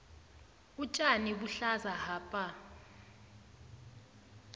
utjani buhlaza hapa